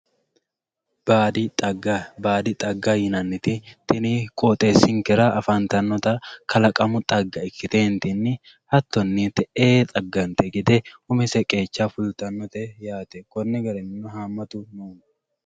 Baadi xagga. Baadi xagga yinanniti tini qooxeessinkera afantannota kalaqamu xagga ikkiteentinni hattonni te'ee xaggante gede umise qeecha fultannote yaate. Konni garinnino haammatu manni